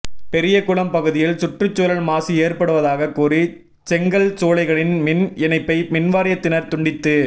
பெரியகுளம் பகுதியில் சுற்றுச்சூழல் மாசு ஏற்படுவதாகக் கூறி செங்கல் சூளைகளின் மின் இணைப்பை மின்வாரியத்தினா் துண்டித்து